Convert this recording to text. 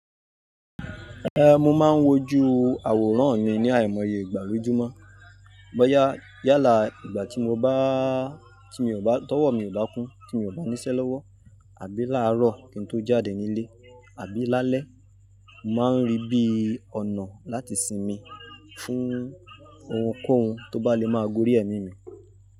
Ehn, mo máa ń wojú àwòrán mi ní àìmọye ìgbà lojúmọ́. Bọ́yá yálà ìgbà tí mo bá tí mi ò bá, tọ́wọ̀ mi ò bá kún, tí mi ò bá níṣẹ́ lọ́wọ́ àbí láàárọ̀ kí n tó jáde nílé, àbí lálẹ́, màá ń rí bí ọ̀nà láti sinmi fún ohunkóhun tó bá le máa gorí ẹ̀mí mi.